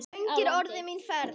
Löng er orðin mín ferð.